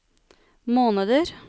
måneder